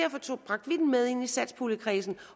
med ind i satspuljekredsen